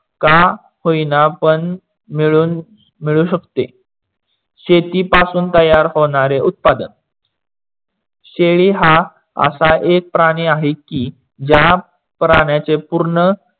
का होईना पण मिडू शकते. शेती पासून तयार होणारे उत्पादक. शेळी हा असा एक प्राणी आहे की, ज्या प्राण्याचे पूर्ण